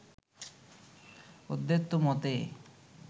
অদ্বৈত মতে